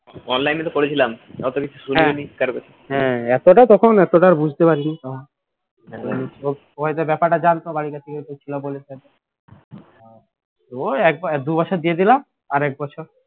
এতটাও তখন এতটাও বুঝতে পারিনি ওই তো ব্যাপারটা জানতো বাড়ির কাছে যেহেতু ছিল বলে ওই দু বছর দিয়ে দিলাম আর এক বছর